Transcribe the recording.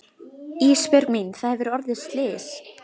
Ísbjörg mín það hefur orðið slys.